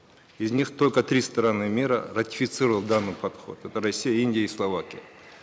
из них только три страны мира ратифицировало данный подход это россия индия и словакия